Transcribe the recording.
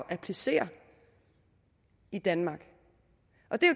at applicere i danmark